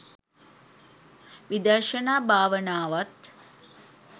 විදර්ශනා භාවනාවත්